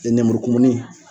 lenmurukumuni